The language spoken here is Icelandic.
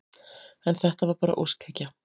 En þetta var bara óskhyggja.